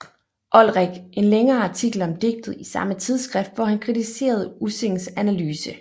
Olrik en længere artikel om digtet i samme tidsskrift hvor han kritiserede Ussings analyse